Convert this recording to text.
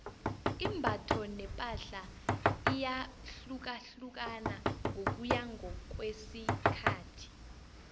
imbatho nepahla iyahlukahlukana ngokuya ngokwesikhathi